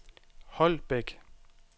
Holbæk